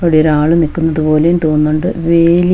ഇവിടെ ഒരാൾ നിൽക്കുന്നത് പോലെയും തോന്നുന്നുണ്ട് വേലി--